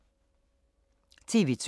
TV 2